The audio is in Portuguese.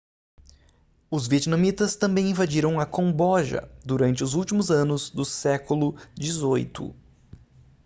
os vietnamitas também invadiram o camboja durante os últimos anos do século xviii